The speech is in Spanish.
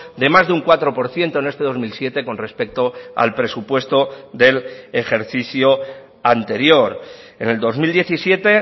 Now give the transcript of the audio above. de más de un cuatro por ciento en este dos mil siete con respecto al presupuesto del ejercicio anterior en el dos mil diecisiete